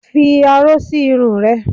Fi aró sí irun rẹ!